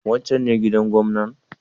Wancan ne gidan gwamnan?